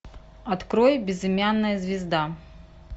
открой безымянная звезда